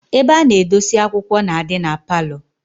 Ebe ana edosi akwukwo na-adi na parlour